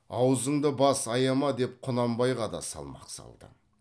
азуыңды бас аяма деп құнанбайға да салмақ салды